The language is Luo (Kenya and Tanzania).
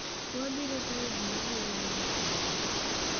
"Wabiro tayo ji mabiro limo chula ni."